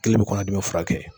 Kelen bi kɔnɔ dimi furakɛ.